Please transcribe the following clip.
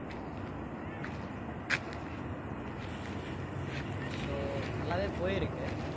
so நல்லாவே போயிருக்கு